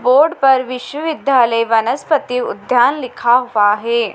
Board पर विश्वविद्यालय वनस्पति उद्यान लिखा हुआ हैं।